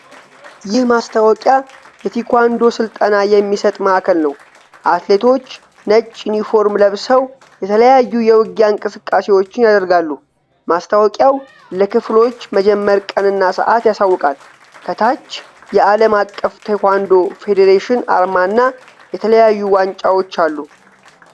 ይህ ማስታወቂያ የታይኳንዶ ስልጠና የሚሰጥ ማዕከል ነው። አትሌቶች ነጭ ዩኒፎርም ለብሰው የተለያዩ የውጊያ እንቅስቃሴዎችን ያደርጋሉ። ማስታወቂያው ለክፍሎች መጀመር ቀንና ሰዓት ያሳውቃል። ከታች የዓለም አቀፍ ታይኳንዶ ፌዴሬሽን አርማ እና የተለያዩ ዋንጫዎች አሉ።